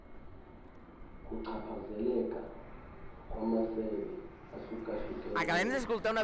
ukuchaphazeleka kwamasebe ahlukahlukeneyo